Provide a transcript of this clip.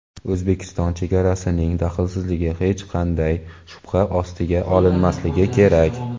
O‘zbekiston chegarasining daxlsizligi hech qanday shubha ostiga olinmasligi kerak.